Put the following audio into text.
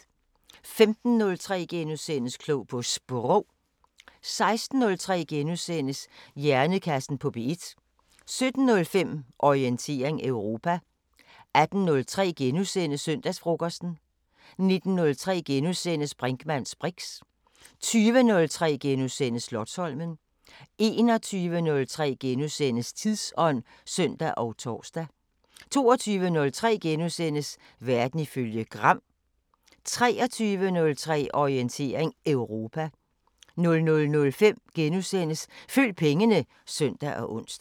15:03: Klog på Sprog * 16:03: Hjernekassen på P1 * 17:05: Orientering Europa 18:03: Søndagsfrokosten * 19:03: Brinkmanns briks * 20:03: Slotsholmen * 21:03: Tidsånd *(søn og tor) 22:03: Verden ifølge Gram * 23:03: Orientering Europa 00:05: Følg pengene *(søn og ons)